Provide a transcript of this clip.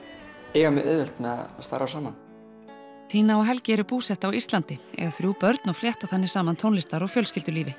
eiga mjög auðvelt með að starfa saman tina og Helgi eru búsett á Íslandi eiga þrjú börn og flétta þannig saman tónlistar og fjölskyldulífi